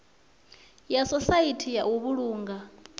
ya sosaithi ya u vhulunga